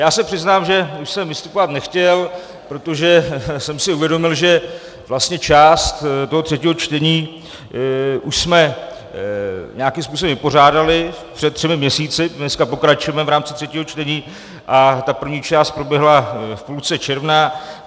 Já se přiznám, že už jsem vystupovat nechtěl, protože jsem si uvědomil, že vlastně část toho třetího čtení už jsme nějakým způsobem vypořádali před třemi měsíci - dneska pokračujeme v rámci třetího čtení a ta první část proběhla v půlce června.